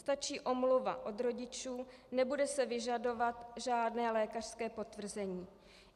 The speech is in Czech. Stačí omluva od rodičů, nebude se vyžadovat žádné lékařské potvrzení.